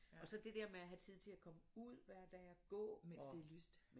Og så det dér med at have tid til og komme ud hver dag og gå og